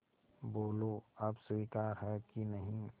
बोलो अब स्वीकार है कि नहीं